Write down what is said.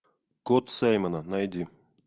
кот саймона найди